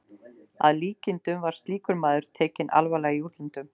Að líkindum var slíkur maður tekinn alvarlega í útlöndum.